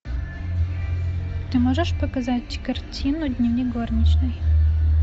ты можешь показать картину дневник горничной